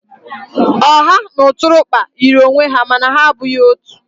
Ọha na ụtụrụkpa yiri onwe ha mana ha abụghị otu.